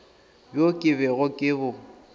bjo ke bego ke bo